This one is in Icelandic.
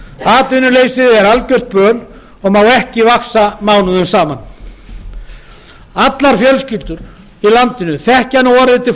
atvinnuleysið er algjört böl og má ekki vaxa mánuðum saman allar fjölskyldur í landinu þekkja nú orðið til